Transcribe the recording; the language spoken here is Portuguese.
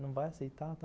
Não vai aceitar tal